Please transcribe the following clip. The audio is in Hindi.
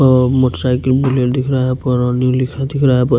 मोटरसाइकिल दिख रहा है न्यू लिखा दिख रहा है।